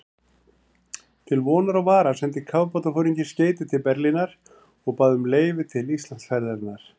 Til vonar og vara sendi kafbátsforinginn skeyti til Berlínar og bað um leyfi til Íslandsferðarinnar.